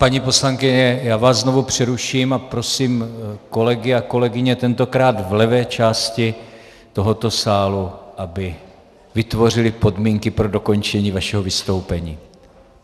Paní poslankyně, já vás znovu přeruším a prosím kolegy a kolegyně, tentokrát v levé části tohoto sálu, aby vytvořili podmínky pro dokončení vašeho vystoupení.